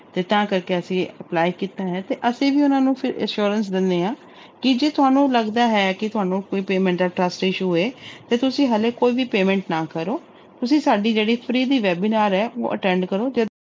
ਤੇ ਤਾਂ ਕਰਕੇ ਅਸੀਂ apply ਕੀਤਾ ਹੈ ਤੇ ਅਸੀਂ ਵੀ ਉਹਨਾਂ ਨੂੰ ਫਿਰ assurance ਦਿੰਦੇ ਹਾਂ ਕਿ ਜੇ ਤੁਹਾਨੂੰ ਲੱਗਦਾ ਹੈ ਕਿ ਤੁਹਾਨੂੰ ਕੋਈ payment ਦਾ trust issue ਹੋਏ ਤੇ ਤੁਸੀਂ ਹਾਲੇ ਕੋਈ ਵੀ payment ਨਾ ਕਰੋ, ਤੁਸੀਂ ਸਾਡੀ ਜਿਹੜੀ free ਦੀ webinar ਹੈ ਉਹ attend ਕਰੋ ਤੇ